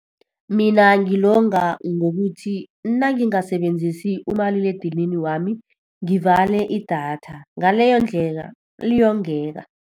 Mina ngilonga ngokuthi nangingasebenzisi umaliledinini wami, ngivale idatha. ngaleyondlela, liyongeka.